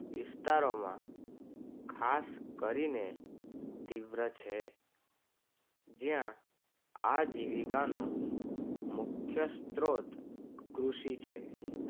વિસ્તારોમાં ખાસ કરીને તીવ્ર છે. જયા આજીવિકાનો મુખ્ય સ્ત્રોત કૃષિ છે